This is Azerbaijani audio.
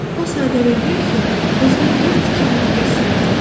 O sadəlövlükklə özünün dörd tikanını göstərdi.